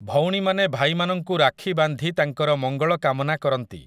ଭଉଣୀମାନେ ଭାଇମାନଙ୍କୁ ରାକ୍ଷୀ ବାନ୍ଧି ତାଙ୍କର ମଙ୍ଗଳ କାମନା କରନ୍ତି ।